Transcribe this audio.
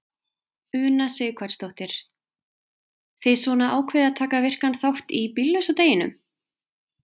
Una Sighvatsdóttir: Þið svona ákveðið að taka virkan þátt í bíllausa deginum?